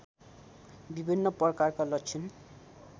विभिन्न प्रकारका लक्षण